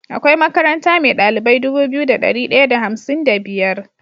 Akwai makaranta me dalilbai Dubu biyu da dari daya da hamsin da biyar